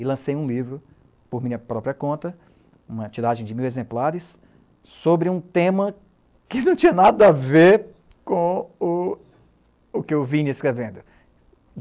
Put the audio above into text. E lancei um livro por minha própria conta, uma tiragem de mil exemplares, sobre um tema que não tinha nada a ver com o o que eu vinha escrevendo.